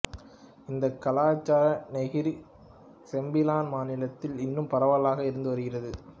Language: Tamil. இந்தக் கலாசாரம் நெகிரி செம்பிலான் மாநிலத்தில் இன்னும் பரவலாக இருந்து வருகிறது